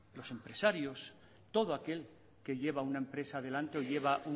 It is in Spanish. los empresarios todo aquel que lleva una empresa adelante o lleva